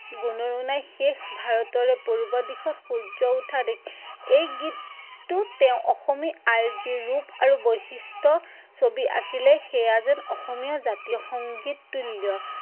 গুণৰো নাই শেষ, ভাৰতৰে পূৰ্ব দিশত সূৰ্য উঠা দেশ, এই গীততোট তেঁও অসমী আই যি ৰূপ আৰু বৈশিষ্টৰ ছঁবি আঁকিলে সেয়া যেন অসমীয়া জাতীয় সংগীত তুল্য।